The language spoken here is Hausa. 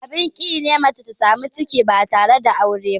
Abin ƙi ne mace ta samu ciki ba tare da aure ba.